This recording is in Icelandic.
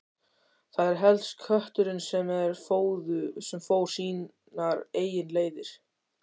Það var helst kötturinn sem fór sínar eigin leiðir.